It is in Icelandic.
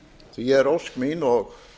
því er ósk mín og